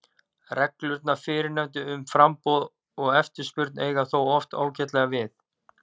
Reglurnar fyrrnefndu um framboð og eftirspurn eiga þó oft ágætlega við.